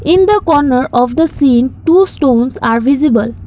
in the corner of the scene two stones are visible.